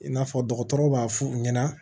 I n'a fɔ dɔgɔtɔrɔw b'a f'u ɲɛna